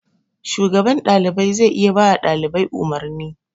Shugaban ɗalibai zai iya bawa ɗalibai umarni.